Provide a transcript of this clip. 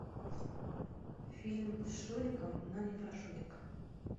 фильм с шуриком но не про шурика